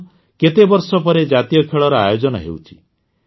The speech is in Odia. କାରଣ କେତେବର୍ଷ ପରେ ଜାତୀୟ ଖେଳର ଆୟୋଜନ ହେଉଛି